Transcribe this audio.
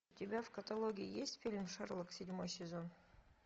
у тебя в каталоге есть фильм шерлок седьмой сезон